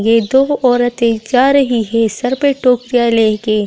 ये दो औरतें जा रही है सर पे टोकरियां लेके।